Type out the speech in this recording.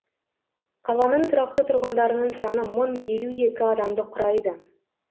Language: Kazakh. қаланың тұрақты тұрғындарының саны мың елу екі адамды құрайды